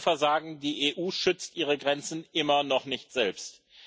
Und das größte Versagen Die EU schützt ihre Grenzen immer noch nicht selbst.